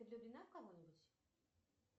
ты влюблена в кого нибудь